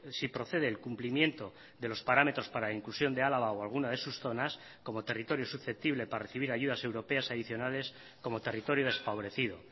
si procede el cumplimiento de los parámetros para la inclusión de álava o alguna de sus zonas como territorio susceptible para recibir ayudas europeas adicionales como territorio desfavorecido